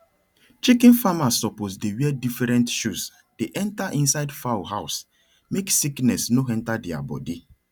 chicken farmers suppose dey wear different shoes dey enter inside fowl house make sickness no enter deir body